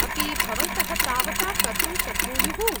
-अपि भवन्तः तावता कर्तुं शक्नुयुः ?